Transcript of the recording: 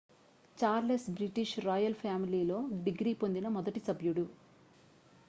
Charles British royal ఫ్యామిలీలో degree పొందిన మొదటి సభ్యుడు